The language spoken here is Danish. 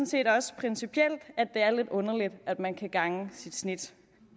set også principielt at det er lidt underligt at man kan gange sit snit